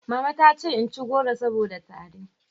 Mama ta ce in ci goro saboda tari